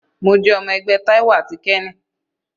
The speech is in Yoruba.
Mo jẹ́ ọmọ ẹgbẹ́ Taiwo àti kenny.